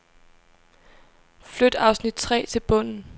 Flyt afsnit tre til bunden.